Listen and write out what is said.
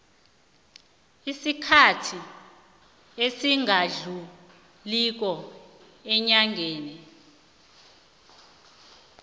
isikhathi esingadluliko eenyangeni